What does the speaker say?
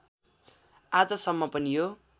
आजसम्म पनि यो